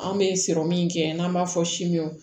An bɛ sɔrɔ min kɛ n'an b'a fɔ simo